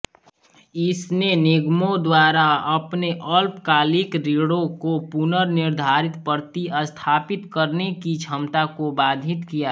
इसने निगमों द्वारा अपने अल्पकालिक ऋणों को पुनर्निर्धारित प्रतिस्थापित करने की क्षमता को बाधित किया